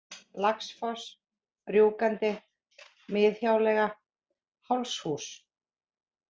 Laxfoss, Rjúkandi, Miðhjáleiga, Hálshús